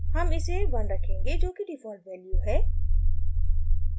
हम इसे 1 रखेंगे जोकि डिफ़ॉल्ट वैल्यू है